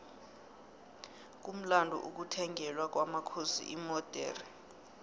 kumlando ukuthengelwa kwomakhosi imodexe